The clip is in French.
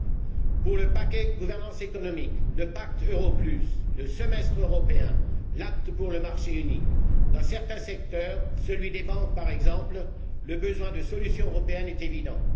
Concernant le paquet gouvernance économique, le pacte Euro, le semestre européen, l'acte pour le marché unique, et dans certains secteurs, celui des banques, par exemple, le besoin de solutions européennes est évident.